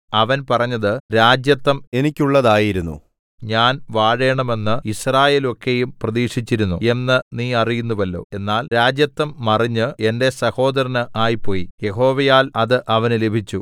അവൻ പറഞ്ഞത് രാജത്വം എനിക്കുള്ളതായിരുന്നു ഞാൻ വാഴേണമെന്ന് യിസ്രായേലൊക്കെയും പ്രതീക്ഷിച്ചിരുന്നു എന്ന് നീ അറിയുന്നുവല്ലോ എന്നാൽ രാജത്വം മറിഞ്ഞ് എന്റെ സഹോദരന് ആയിപ്പോയി യഹോവയാൽ അത് അവന് ലഭിച്ചു